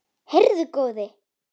Heyrðu góði!